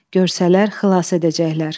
Görsələr xilas edəcəklər.